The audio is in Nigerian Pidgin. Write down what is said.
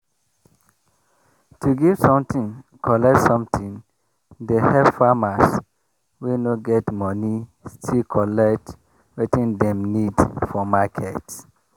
to give something collect something dey help farmers wey no get moni still collect wetin dem need for market.